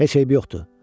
Heç eybi yoxdur.